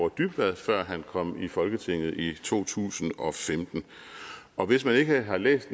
dybvad før han kom i folketinget i to tusind og femten og hvis man ikke har læst